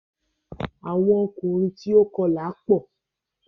awọn ọkùnrin tíó kọla pọ.